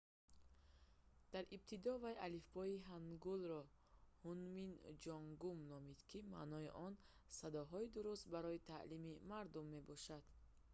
дар ибтидо вай алифбои ҳангулро «ҳунмин ҷонгум» номид ки маънои он «садоҳои дуруст барои таълими мардум» мебошад